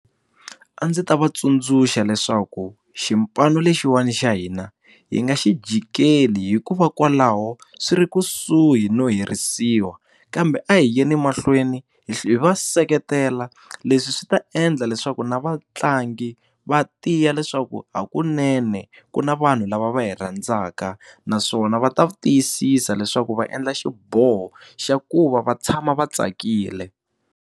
A ndzi ta va tsundzuxa leswaku xipano lexiwani xa hina hi nga xi jikeli hikuva kwalaho swi ri kusuhi no herisiwa kambe a hi yeni mahlweni hi va seketela leswi swi ta endla leswaku na vatlangi va tiya leswaku hakunene ku na vanhu lava va hi rhandzaka naswona va ta tiyisisa leswaku va endla xiboho xa ku va va tshama va tsakile.